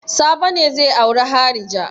Sabo ne zai auri harija.